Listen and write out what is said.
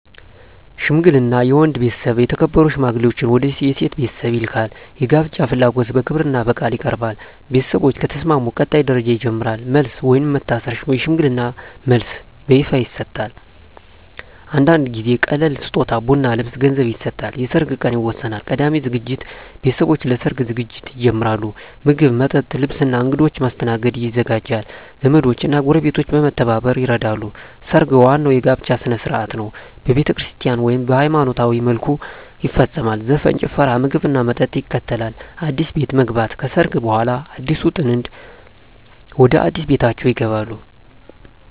ሽምግልና የወንድ ቤተሰብ የተከበሩ ሽማግሌዎችን ወደ የሴት ቤተሰብ ይልካል። የጋብቻ ፍላጎት በክብርና በቃል ይቀርባል። ቤተሰቦች ከተስማሙ ቀጣይ ደረጃ ይጀምራል። መልስ (ወይም መታሰር) የሽምግልና መልስ በይፋ ይሰጣል። አንዳንድ ጊዜ ቀላል ስጦታ (ቡና፣ ልብስ፣ ገንዘብ) ይሰጣል። የሰርግ ቀን ይወሰናል። ቀዳሚ ዝግጅት ቤተሰቦች ለሰርግ ዝግጅት ይጀምራሉ። ምግብ፣ መጠጥ፣ ልብስ እና እንግዶች ማስተናገድ ይዘጋጃል። ዘመዶች እና ጎረቤቶች በመተባበር ይረዳሉ። ሰርግ ዋናው የጋብቻ ሥነ ሥርዓት ነው። በቤተክርስቲያን (ወይም በሃይማኖታዊ መልኩ) ይፈጸማል። ዘፈን፣ ጭፈራ፣ ምግብና መጠጥ ይከተላል። አዲስ ቤት መግባት (ከሰርግ በኋላ) አዲሱ ጥንድ ወደ አዲስ ቤታቸው ይገባሉ።